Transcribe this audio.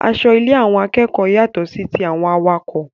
Aṣọ ile àwọn akẹ́kọ̀ọ́ yàtọ sí tí àwọn awakọ̀